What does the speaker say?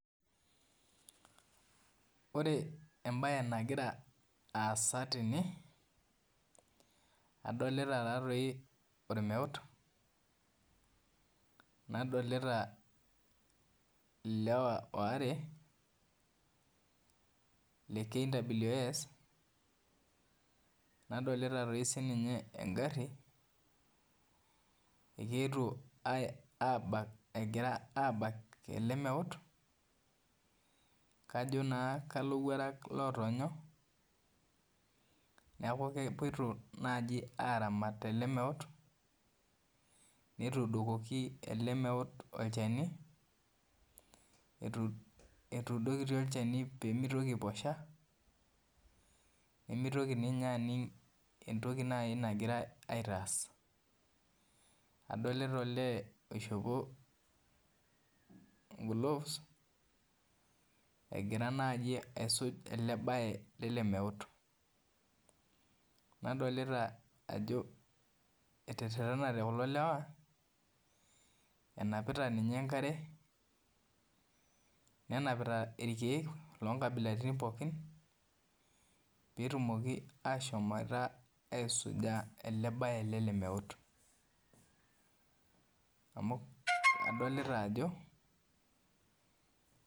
Ore embae nagira aasa tene adolta taatoi ormeut nadolta ilewa waare le kws nadolta sininye engari egira abak elemeut kajo na kalowuarak otoonyo neaku kegira abak ele meut netuudokoki elemeut olchani etuudokoki pemitoki aiposha pemitoki aning nai entoki nagirai aaitaas adolta olee oshopo englove egira aisuj orbae lele meut nadolta ajo etererenate kulo lewa enapila enkare nenapita irkiek lonkabilaitin pookin petumoki aisuja orbae lele meut amu adolta ajo.